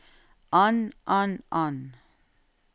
an an an